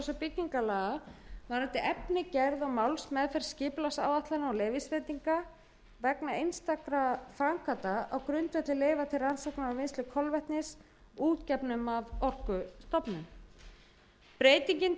og byggingarlaga varðandi efni gerð og málsmeðferð skipulagsáætlana og leyfisveitinga vegna einstakra framkvæmda á grundvelli leyfa til rannsóknar og vinnslu kolvetnis útgefnum af orkustofnun breytingin tengist